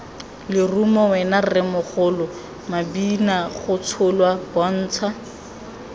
lerumo wena rremogolo mabinagotsholwa bontsha